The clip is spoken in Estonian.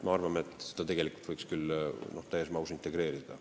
Me arvame, et tegelikult võiks need täies mahus integreerida.